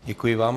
Děkuji vám.